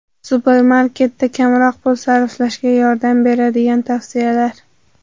Supermarketda kamroq pul sarflashga yordam beradigan tavsiyalar.